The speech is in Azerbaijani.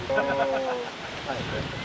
Bəli, bəli, bəli, bəli.